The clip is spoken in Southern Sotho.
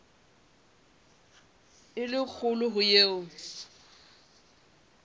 e le kgolo ho eo